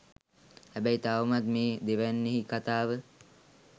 හැබැයි තවමත් මෙ දෙවැන්නෙහි කතාව